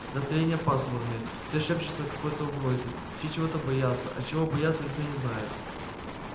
настроения пасмурные все шепчутся о какой-то угрозе все чего-то боятся а чего боятся никто не знает